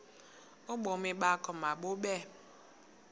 ubomi bakho mabube